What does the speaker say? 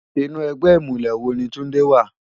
Inú ègbè imúlè wó ni Tunde wá?